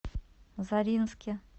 заринске